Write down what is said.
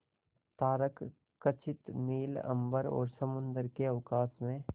तारकखचित नील अंबर और समुद्र के अवकाश में